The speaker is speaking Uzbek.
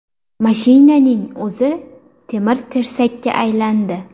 Mashinaning o‘zi temir-tersakka aylandi.